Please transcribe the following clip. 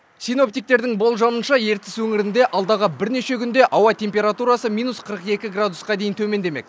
синоптиктердің болжамынша ертіс өңірінде алдағы бірнеше күнде ауа температурасы минус қырық екі градусқа дейін төмендемек